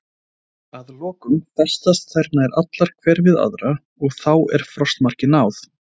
Að lokum festast þær nær allar hver við aðra og þá er frostmarki náð.